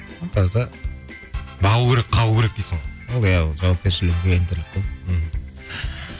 таза бағу керек қағу керек дейсің ғой иә жауапкершілік